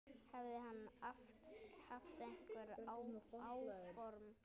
Hefði hann haft einhver áform.